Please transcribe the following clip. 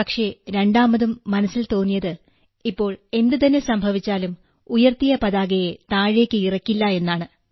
പക്ഷെ രണ്ടാമതും മനസ്സിൽ തോന്നിയത് ഇപ്പൊ എന്തുതന്നെ സംഭവിച്ചാലും ഉയർത്തിയ പതാകയെ താഴേക്ക് ഇറക്കില്ല എന്നാണ്